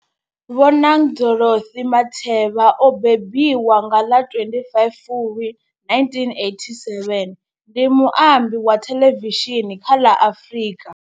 Bonang Dorothy Matheba o mbembiwa nga ḽa 25 Fulwi 1987, ndi muambi wa thelevishini kha ḽa Afrika.